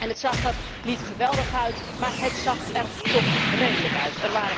Het zag er niet geweldig uit, maar het zag er toch redelijk uit.